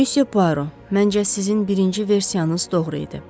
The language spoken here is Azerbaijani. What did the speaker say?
Müsyö Puaro, məncə sizin birinci versiyanız doğru idi.